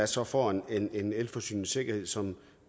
så får en en elforsyningssikkerhed som